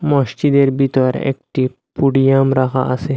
মসজিদের ভেতর একটি পুডিয়াম রাখা আসে।